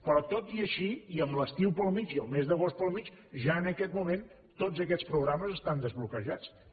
però tot i així i amb l’estiu pel mig i el mes d’agost pel mig ja en aquest moment tots aquests programes estan desbloquejats també